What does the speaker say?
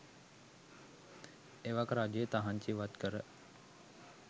එවක රජය තහංචි ඉවත්කර